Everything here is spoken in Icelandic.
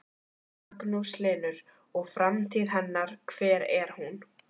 Magnús Hlynur: Og framtíð hennar, hver er hún?